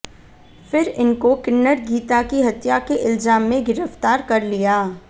फिर इनको किन्नर गीता की हत्या के इल्जाम में गिरफ्तार कर लिया